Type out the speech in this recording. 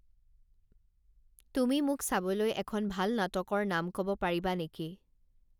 তুমি মোক চাবলৈ এখন ভাল নাটকৰ নাম ক'ব পাৰিবা নেকি